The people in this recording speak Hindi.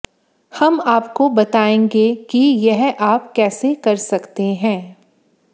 हम आपको बताएंगे कि यह आप कैसे कर सकते हैं